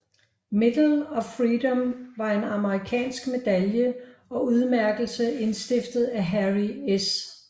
Medal of Freedom var en amerikansk medalje og udmærkelse indstiftet af Harry S